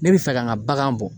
Ne be fɛ ka n ka bagan bɔ.